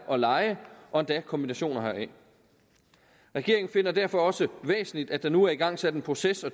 og leje og endda kombinationer heraf regeringen finder det derfor også væsentligt at der nu er igangsat en proces og